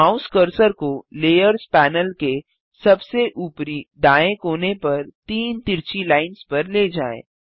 mouse cursor को layers panel के सबसे ऊपरी दाएँ कोने पर तीन तिरछी लाइन्स पर ले जाएँ